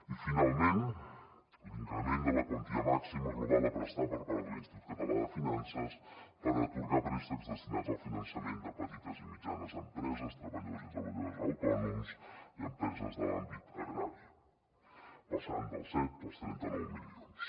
i finalment l’increment de la quantia màxima global a prestar per part de l’institut català de finances per atorgar préstecs destinats al finançament de petites i mitjanes empreses treballadors i treballadores autònoms i empreses de l’àmbit agrari passant dels set als trenta nou milions